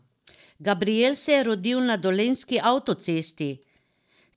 Gabrijel se je rodil na dolenjski avtocesti!